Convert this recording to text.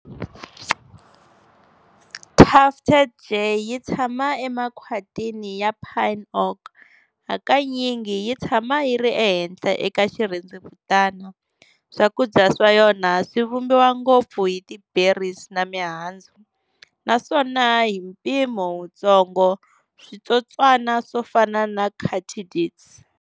Tufted jay yi tshama emakhwatini ya pine-oak, hakanyingi yi tshama yi ri ehenhla eka xirhendzevutana. Swakudya swa yona swivumbiwa ngopfu hi ti berries na mihandzu, naswona hi mpimo wutsongo switsotswana swofana na katydids.